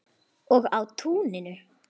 Og á túninu.